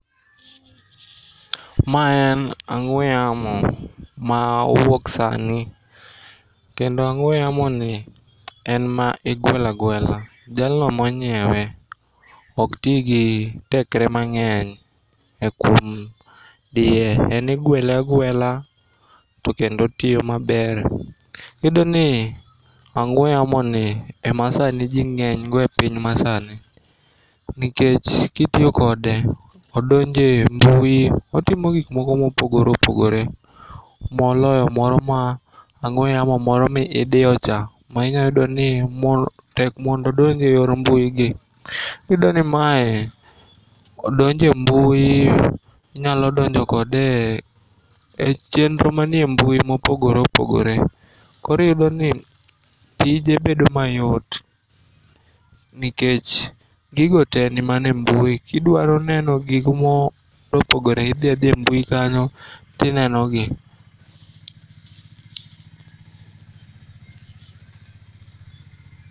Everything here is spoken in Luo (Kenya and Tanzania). Ma en ang'ue yamo ma owuok sani kendo ang'ue yamoni en ma igwelagwela. Jalno monyiewe oktii gi tekre mang'eny e kuom die. En igwele agwela tokendo otiyo maber. Iyudoni ang'ue yamoni ema sani jii ng'enygo e piny masani nikech kitiyo kode odonje mbui. Otimo gikmoko mopogore opogore moloyo moro ma, ang'ue yamo moro midiyo cha minyayudoni tek mondo odonje yor mbuigi. Iyudoni mae donje mbu. Inyalodonjo kode e chenro manie mbui mopogoreopogore koroiyudoni tije bedo mayot nikech gigo tee nimana embui. Kidwaroneno gikmopogore, idhiadhia e mbui kanyo tinenogi.